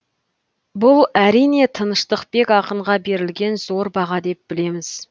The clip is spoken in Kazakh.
бұл әрине тыныштықбек ақынға берілген зор баға деп білеміз